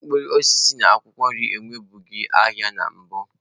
Mkpụrụ osisi na akwụkwọ nri enwebughị ahịa na mbụ.